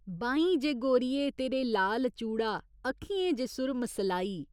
बाहीं जे गोरिये तेरे लाल चूड़ा अक्खियें च सुरम सलाई।